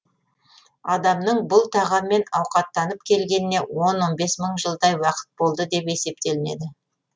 адамның бұл тағаммен ауқаттанып келгеніне он он бес мың жылдай уақыт болды деп есептелінеді